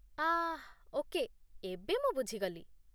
ଆଃ okay, ଏବେ ମୁଁ ବୁଝିଗଲି